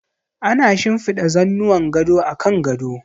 Ana shinfiɗa zannuwan gado a kan gado.